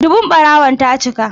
Dubun ɓarawon ta cika.